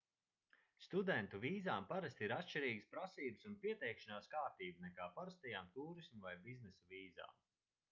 studentu vīzām parasti ir atšķirīgas prasības un pieteikšanās kārtība nekā parastajām tūrisma vai biznesa vīzām